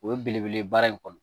O ye belebele baara in kɔnɔ